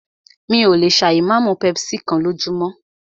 Mí ò lè ṣà ì má mú pepsi kán lójúmọ́.